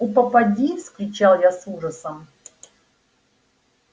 у попади вскричал я с ужасом